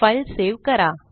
file save करा